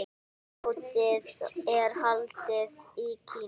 Mótið er haldið í Kína.